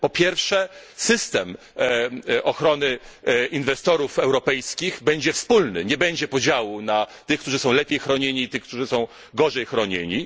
Po pierwsze, system ochrony inwestorów europejskich będzie wspólny, nie będzie podziału na tych, którzy są lepiej chronieni i tych, którzy są gorzej chronieni.